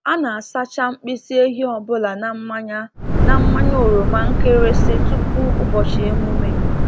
A na-asacha mkpịsị ehi ọ bụla na mmanya na mmanya oroma nkịrịsị tupu ụbọchị emume.